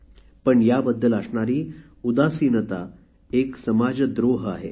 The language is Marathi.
पण याबद्दल असणारी उदासिनता एक समाजद्रोह आहे